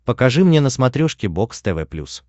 покажи мне на смотрешке бокс тв плюс